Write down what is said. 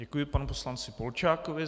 Děkuji panu poslanci Polčákovi.